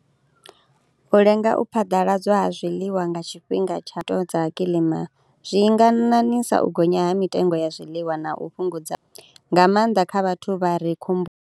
U lenga u phaḓaladzwa ha zwiḽiwa nga tshifhinga tsha to dza kilima zwi nga ṋaṋisa u gonya ha mitengo ya zwiḽiwa na u fhungudza, nga maanḓa kha vhathu vha re khomboni.